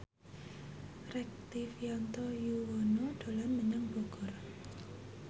Rektivianto Yoewono dolan menyang Bogor